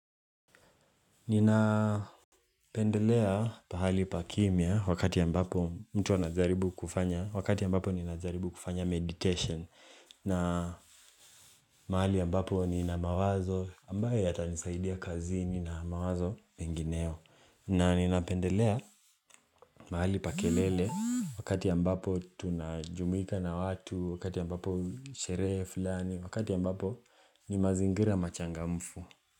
Ninapendelea pahali pa kimya wakati ambapo mtu anajaribu kufanya, wakati ambapo ninajaribu kufanya medication na mahali ambapo nina mawazo ambayo yatanisaidia kazini na mawazo mengineo na ninapendelea mahali pa kelele wakati ambapo tunajumuika na watu, wakati ambapo sherehe fulani, wakati ambapo ni mazingira machangamfu.